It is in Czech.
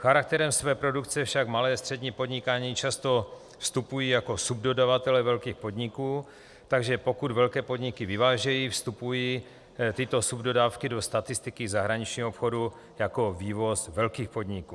Charakterem své produkce však malé a střední podniky často vstupují jako subdodavatelé velkých podniků, takže pokud velké podniky vyvážejí, vstupují tyto subdodávky do statistiky zahraničního obchodu jako vývoz velkých podniků.